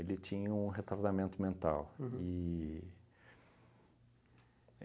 tinha um retardamento mental. Uhum. E e